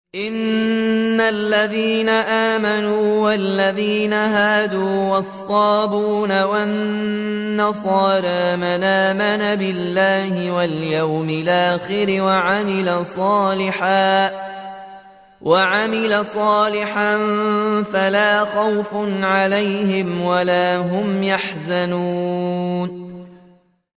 إِنَّ الَّذِينَ آمَنُوا وَالَّذِينَ هَادُوا وَالصَّابِئُونَ وَالنَّصَارَىٰ مَنْ آمَنَ بِاللَّهِ وَالْيَوْمِ الْآخِرِ وَعَمِلَ صَالِحًا فَلَا خَوْفٌ عَلَيْهِمْ وَلَا هُمْ يَحْزَنُونَ